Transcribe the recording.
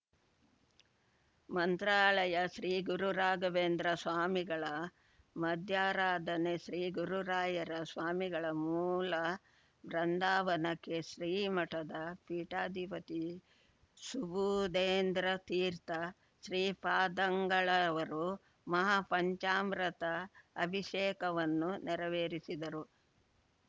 ಮಂತ್ರಾಲಯ ಶ್ರೀಗುರುರಾಘವೇಂದ್ರ ಸ್ವಾಮಿಗಳ ಮಧ್ಯಾರಾಧನೆ ಶ್ರೀಗುರುರಾಯರ ಸ್ವಾಮಿಗಳ ಮೂಲಬೃಂದಾವನಕ್ಕೆ ಶ್ರೀಮಠದ ಪೀಠಾಧಿಪತಿ ಸುಬುಧೇಂದ್ರ ತಿರ್ಥ ಶ್ರೀಪಾದಂಗಳವರು ಮಹಾಪಂಚಾಮೃತ ಅಭಿಷೇಕವನ್ನು ನೆರವೇರಿಸಿದರು